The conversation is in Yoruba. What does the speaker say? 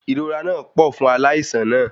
Ìrora náà pọ̀ fún aláìsàn náà